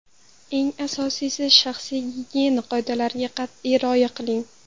Eng asosiysi — shaxsiy gigiyena qoidalariga qat’iy rioya qiling!.